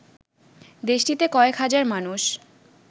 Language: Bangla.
দেশটিতে কয়েক হাজার মানুষ